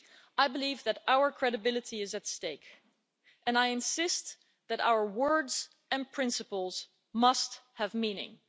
I believe that our credibility is at stake and I insist that our words and principles must have meaning.